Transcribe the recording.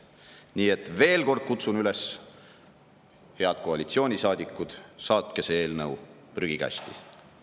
Nii et veel kord kutsun üles, head koalitsioonisaadikud, saatke see eelnõu prügikasti.